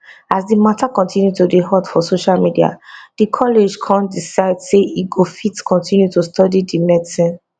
as di mata continue to dey hot for social media di college kon decide say e go fit continue to study di medicine